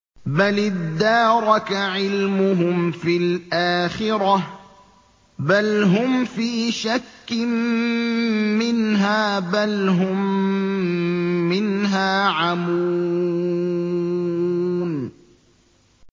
بَلِ ادَّارَكَ عِلْمُهُمْ فِي الْآخِرَةِ ۚ بَلْ هُمْ فِي شَكٍّ مِّنْهَا ۖ بَلْ هُم مِّنْهَا عَمُونَ